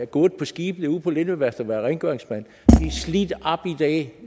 gået på skibene ude på lindø værftet og været rengøringsmand er slidt op i dag